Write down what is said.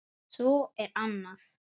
Svo er annað.